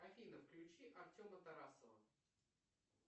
афина включи артема тарасова